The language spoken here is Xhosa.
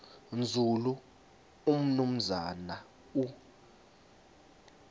nzulu umnumzana u